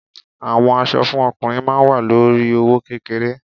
Àwọn aṣọ fún ọkùnrin ma wa lórí i owó kékeré.